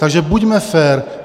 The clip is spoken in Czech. Takže buďme fér.